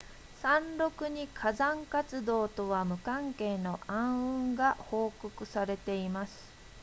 山麓に火山活動とは無関係の暗雲が報告されています